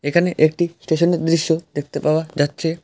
এখানে একটি স্টেশনের দৃশ্য দেখতে পাওয়া যাচ্ছে।